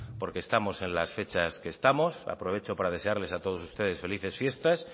porque estamos en las fechas que estamos aprovecho para desearles a todos ustedes felices fiestas